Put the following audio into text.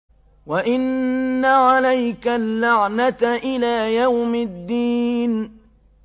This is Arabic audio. وَإِنَّ عَلَيْكَ اللَّعْنَةَ إِلَىٰ يَوْمِ الدِّينِ